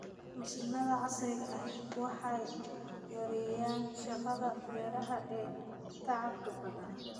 Mashiinnada casriga ahi waxay yareeyaan shaqada beeraha ee tacabka badan.